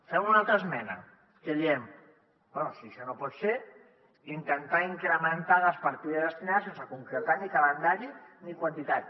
fem una altra esmena en què diem bé si això no pot ser intentar incrementar les partides destinades sense concretar ni calendari ni quantitat